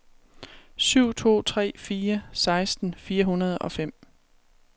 syv to tre fire seksten fire hundrede og fem